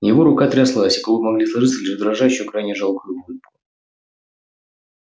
его рука тряслась и губы могли сложиться лишь в дрожащую крайне жалкую улыбку